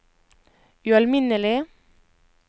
ualminnelig